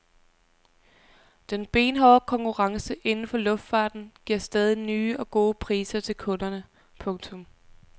Den benhårde konkurrence inden for luftfarten giver stadig nye og gode priser til kunderne. punktum